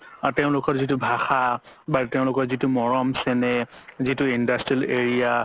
তেওলোকৰ যিতো ভাষা বা তেওলোকৰ যিতো মৰম চেনেহ যিতো industrial area